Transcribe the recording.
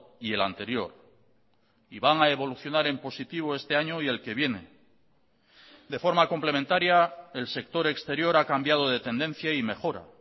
y el anterior y van a evolucionar en positivo este año y el que viene de forma complementaria el sector exterior ha cambiado de tendencia y mejora